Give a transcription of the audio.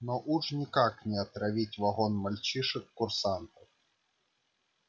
но уж никак не отравить вагон мальчишек-курсантов